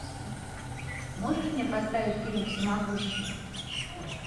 можешь мне поставить фильм всемогущий